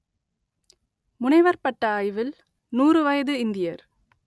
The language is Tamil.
முனைவர் பட்ட ஆய்வில் நூறு வயது இந்தியர்